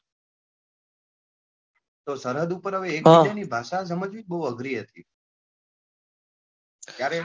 તો સરહદ પર એક બીજા ને ભાષા સમજવી અગરી હતી સમજવી અગરી હતી, ત્યારે,